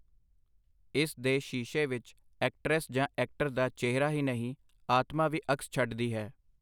ਇਸ ਦੇ ਸ਼ੀਸ਼ੇ ਵਿਚ ਐਕਟਰੈਸ ਜਾਂ ਐਕਟਰ ਦਾ ਚਿਹਰਾ ਹੀ ਨਹੀਂ, ਆਤਮਾ ਵੀ ਅਕਸ ਛੱਡਦੀ ਹੈ.